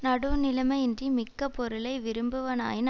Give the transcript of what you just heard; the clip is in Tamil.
நடுவுநிலைமையின்றி மிக்க பொருளை விரும்புவானாயின்